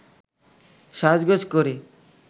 সাজগোজ করে